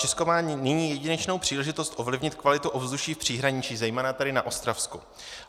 Česko má nyní jedinečnou příležitost ovlivnit kvalitu ovzduší v příhraničí, zejména tedy na Ostravsku.